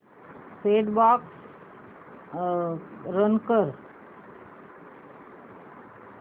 set top box run कर